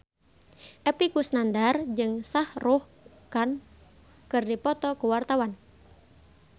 Epy Kusnandar jeung Shah Rukh Khan keur dipoto ku wartawan